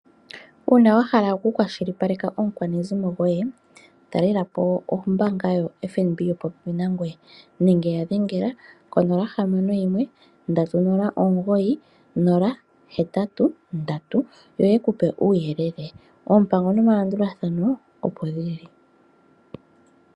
Uuna wahala oku kwashilipaleka omukwanezimo goye, ta lelapo ombanga ya FNB yili po pepi nangoye nenge ya dhengela konomola 061309083, yo yekupe uuyelele, oompamgo nomalandulathano opo dhili.